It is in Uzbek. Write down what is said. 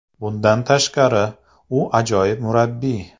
Bundan tashqari, u ajoyib murabbiy.